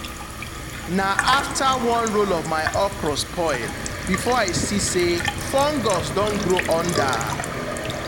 na after one row of my okra spoil before i see say fungus don grow under.